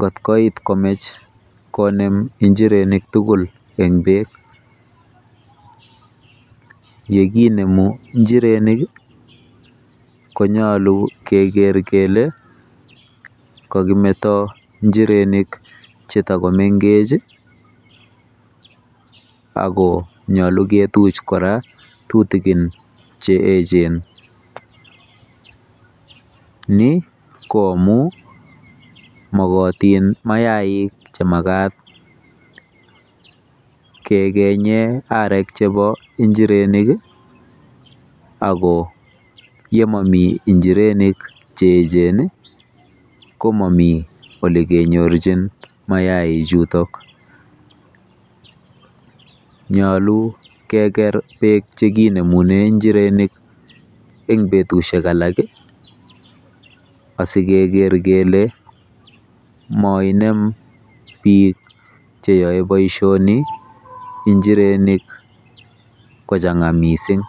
kot koit komach konem njirenik tugul en beek ,yekinemu njirenik konyolu keger kele kokimeto njirenik chetogomeng'ech ako nyolu kituch kora tutugin cheechen, ni ko amun mogotin mayaik chemagat kegenye arek chebo njirenik ako yemomi njirenik cheechen ii komomi olegenyorjin mayaichutok, nyolu keger beek chekinemunen njirenik en betusiek alak ii asikeger kele moinem biik cheyoe boisioni njirenik kochang'a missing.